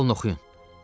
Al oxuyun.